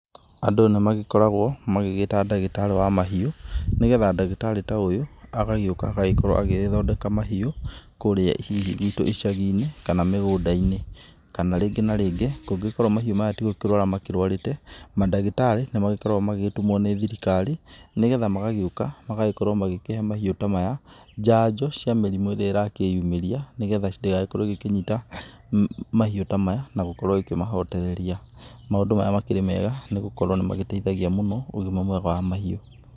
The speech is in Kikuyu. Andũ nĩ magĩkoragwo magĩgĩĩta ndagĩtarĩ wa mahiũ, nĩ getha ndagĩtarĩ ta ũyũ agagĩũka agagĩkorwo agĩgĩthondeka mahiũ, kũũrĩa hihi gwitũ icagi-inĩ, kana mĩgũnda-inĩ. Kana rĩngĩ na rĩngĩ kũngĩkorwo mahiũ maya ti gũkĩrũara makĩrũarĩte, mandagĩtarĩ nĩ magĩgĩkoragwo magĩgĩtumwo nĩ thirikari nĩ getha magagĩũka magagĩkorwo magĩkĩhe mahiũ ta maya njanjo cia mĩrimũ ĩrĩ ĩrakĩĩyumĩria nĩ getha ndĩgagĩkorwo igĩkĩnyita mahiũ ta maya na gũkorwo ĩkĩmahondereria. Maũndũ maya makĩrĩ mega nĩ gukorwo nĩ magĩteithagia mũno ũgima mwega wa mahiũ.